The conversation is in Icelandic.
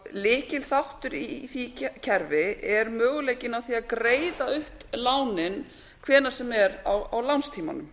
lykilþáttur í því kerfi er möguleikinn á því að greiða upp lánin hvenær sem er á lánstímanum